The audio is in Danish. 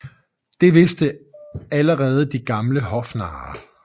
Det vidste allerede de gamle hofnarre